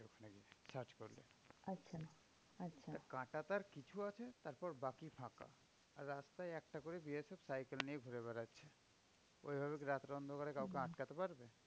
কাঁটাতার কিছু আছে তারপর বাকি ফাঁকা। আর রাস্তায় একটা করে BSF সাইকেল নিয়ে ঘুরে বেড়াচ্ছে। ওই ভাবে রাতের অন্ধকারে কাউকে আটকাতে পারবে?